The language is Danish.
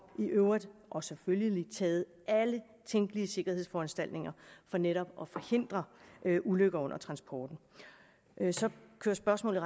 i øvrigt og selvfølgelig taget alle tænkelige sikkerhedsforanstaltninger for netop at forhindre ulykker under transporten så kører spørgsmålet